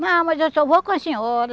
Não, mas eu só vou com a senhora.